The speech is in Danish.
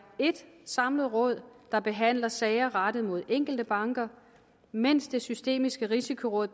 et samlet råd der behandler sager rettet mod enkelte banker mens det systemiske risikoråd